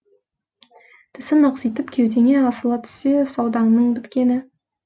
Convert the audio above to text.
тісін ақситып кеудеңе асыла түссе саудаңның біткені